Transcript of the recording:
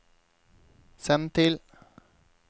send til